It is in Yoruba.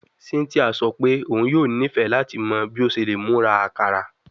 Cynthia sọ pe oun yoo nifẹ lati mọ bi o ṣe le mura akara